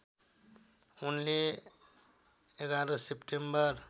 उनले ११ सेप्टेम्बर